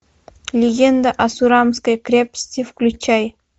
легенда о сурамской крепости включай